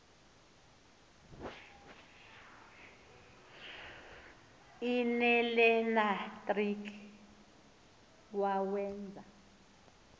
l nelenatriki wawenza